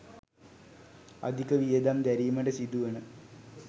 අධික වියදම් දැරීමට සිදුවන